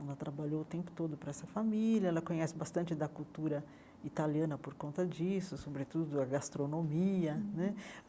Ela trabalhou o tempo todo para essa família, ela conhece bastante da cultura italiana por conta disso, sobretudo a gastronomia né.